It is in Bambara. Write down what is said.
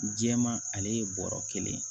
Jɛman ale ye bɔrɔ kelen ye